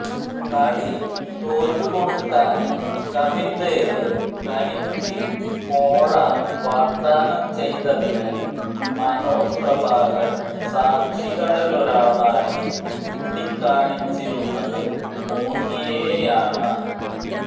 കളി തോറ്റു കൊടുക്കാന് കപില്ദേവ് തനിക്ക് കോഴ വാഗ്ദാനം ചെയ്തതിന് മനോജ് പ്രഭാകര് സാക്ഷികളിലൊരാളായി ചൂണ്ടിക്കാണിച്ചിരുന്നത് മോംഗിയയെയാണ്